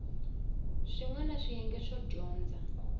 swin wana swiyenge swo dyondza